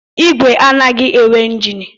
Igwe anaghị enwe njini